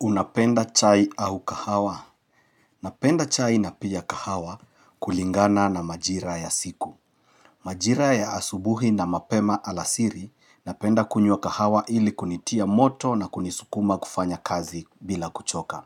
Unapenda chai au kahawa? Ninapenda chai na pia kahawa kulingana na majira ya siku. Majira ya asubuhi na mapema alasiri, ninapenda kunywa kahawa ili kunitia moto na kunisukuma kufanya kazi bila kuchoka.